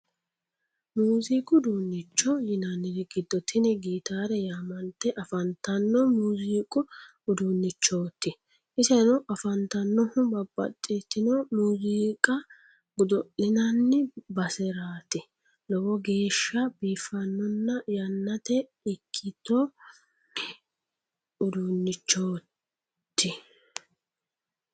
Muuziiqu uduunnicho yinanniri giddo tini gitaare yaamante afantanno muuziiqu uduunnichooti iseno afantannohu babbaxitino muuziiqa godo'linanni baseraati lowo geeshsha biiffannona yannitte ikkitino uduunnichooto